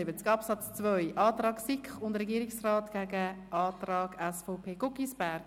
Es geht um Artikel 77 Absatz 2 und damit um den Antrag von SiK und Regierung gegen den Antrag der SVP-Fraktion, Guggisberg.